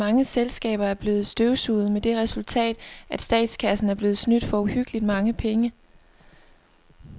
Mange selskaber er blevet støvsuget med det resultat, at statskassen er blevet snydt for uhyggeligt mange penge.